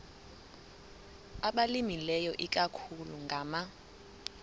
abalimileyo ikakhulu ngama